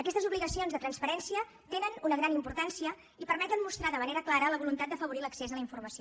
aquestes obligacions de transparència tenen una gran importància i permeten mostrar de manera clara la voluntat d’afavorir l’accés a la informació